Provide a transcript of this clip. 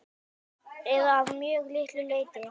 Eða að mjög litlu leyti.